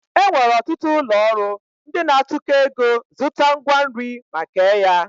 E nwere ọtụtụ ụlọọrụ ndị na-atụkọ ego zụta ngwa nri ma kee ya